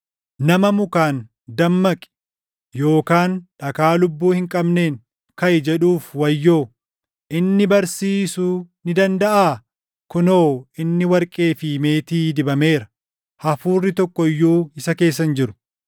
Nama mukaan, ‘Dammaqi!’ yookaan dhagaa lubbuu hin qabneen, ‘Kaʼi!’ jedhuuf wayyoo. Inni barsiisuu ni dandaʼaa? Kunoo inni warqee fi meetii dibameera; hafuurri tokko iyyuu isa keessa hin jiru.”